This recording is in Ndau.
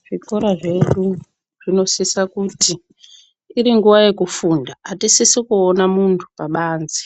Zvikora zvedu zvinosisa kuti iri nguwa yekufunda, atisisi kuona muntu pabanze.